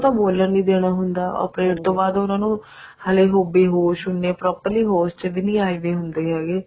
ਉਹ ਤਾਂ ਬੋਲਣ ਨੀ ਦੇਣਾ ਹੁੰਦਾ operate ਤੋਂ ਬਾਅਦ ਉਹਨਾ ਨੂੰ ਹਜੇ ਉਹ ਬੇਹੋਸ਼ ਹੁੰਦੇ ਆ properly ਹੋਸ਼ ਵੀ ਨੀ ਆਏ ਵੇ ਹੁੰਦੇ ਹੈਗੇ